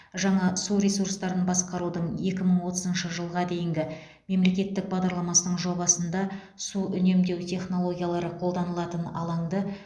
жаңа су ресурстарын басқарудың екі мың отызыншы жылға дейінгі мемлекеттік бағдарламасының жобасында су үнемдеу технологиялары қолданылатын алаңды